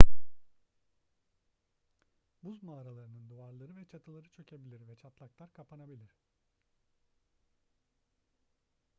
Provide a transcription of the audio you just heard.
buz mağaralarının duvarları ve çatıları çökebilir ve çatlaklar kapanabilir